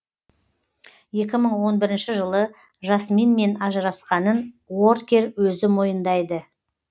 екі мың он бірінші жылы жасминмен ажырасқанын уоркер өзі мойындайды